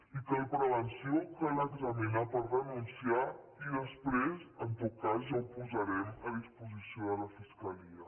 i cal prevenció cal examinar per denunciar i després en tot cas ja ho posarem a disposició de la fiscalia